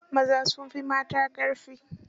Maza sun fi mata ƙarfi.